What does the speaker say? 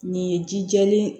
Nin ye ji jɛlen ye